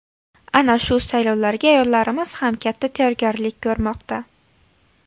Ana shu saylovlarga ayollarimiz ham katta tayyorgarlik ko‘rmoqda.